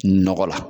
Nɔgɔ la